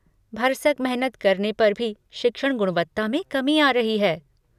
भरसक मेहनत करने पर भी शिक्षण गुणवत्ता में कमी आ रही है।